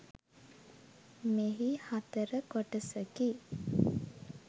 මෙහි හතර කොටසකි.